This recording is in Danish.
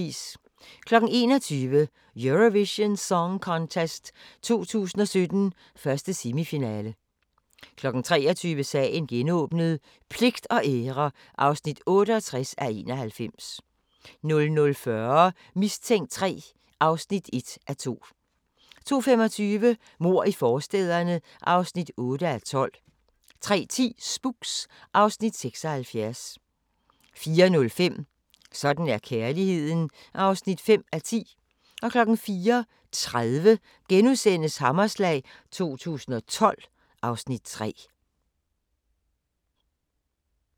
21:00: Eurovision Song Contest 2017, 1. semifinale 23:00: Sagen genåbnet: Pligt og ære (68:91) 00:40: Mistænkt 3 (1:2) 02:25: Mord i forstæderne (8:12) 03:10: Spooks (Afs. 76) 04:05: Sådan er kærligheden (5:10) 04:30: Hammerslag 2012 (Afs. 3)*